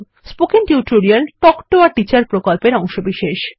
spoken tutorial talk to a teacher প্রকল্পের অংশবিশেষ